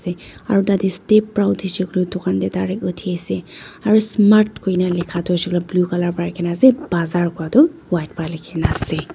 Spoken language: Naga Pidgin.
Aro tatey step para uthishey koiley dukan tey direct uthi ase aro smart kui kena la ka toh hoisey koile toh blue colour para leke kena ase bazaar koi toh white para leke kena ase.